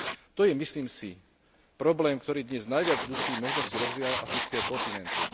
To je, myslím si, problém, ktorý dnes najviac dusí možnosti rozvíjania afrického kontinentu.